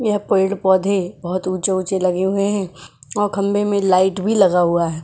यह पेड़ पौधे बहुत ऊंचे ऊंचे लगे हुए हैं और खंबे में लाइट भी लगा हुआ है।